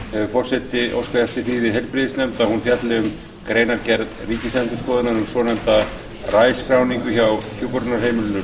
hefur forseti óskað eftir því við heilbrigðisnefnd að hún fjalli um greinargerð ríkisendurskoðunar um svonefnda rai skráningu hjá hjúkrunarheimilinu